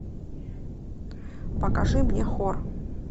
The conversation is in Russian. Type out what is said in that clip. покажи мне хор